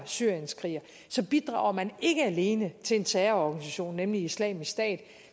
syrienskriger bidrager man ikke alene til en terrororganisation nemlig islamisk stat og